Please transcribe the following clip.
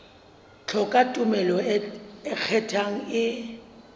hloka tumello e ikgethang e